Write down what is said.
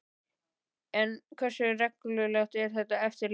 En hversu reglulegt er þetta eftirlit?